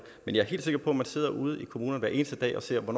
men jeg er helt sikker på at man sidder ude i kommunerne hver eneste dag og ser på